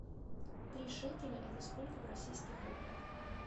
три шекеля это сколько в российских рублях